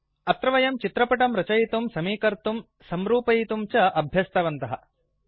अत्र वयं चित्रपटं रचयितुं समीकर्तुं संरूपयितुं च अभ्यस्तवन्तः